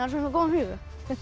svo góðan hug